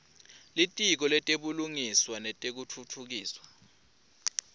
litiko letebulungiswa nekutfutfukiswa